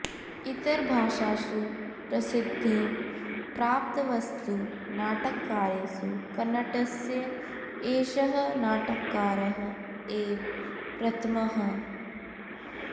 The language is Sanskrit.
इतरभाषासु प्रसिद्धिं प्राप्तवत्सु नाटककारेषु कन्नडस्य एषः नाटककारः एव प्रथमः